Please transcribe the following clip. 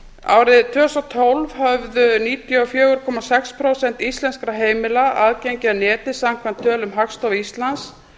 árið tvö þúsund og tólf höfðu níutíu og fjögur komma sex prósent íslenskra heimila aðgengi að neti samkvæmt tölum hagstofu íslands